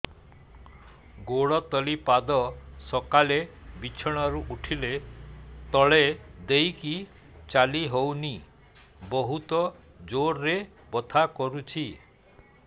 ଗୋଡ ତଳି ପାଦ ସକାଳେ ବିଛଣା ରୁ ଉଠିଲେ ତଳେ ଦେଇକି ଚାଲିହଉନି ବହୁତ ଜୋର ରେ ବଥା କରୁଛି